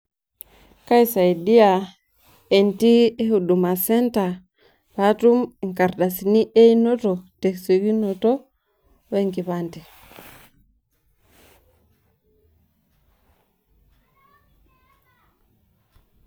Kaisaidia entii e Huduma centre patum inkardasini einoto tesiokinoto wenkipande.